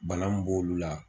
Bana mun b'olu la